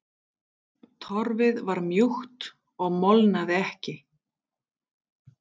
Torfið var mjúkt og molnaði ekki.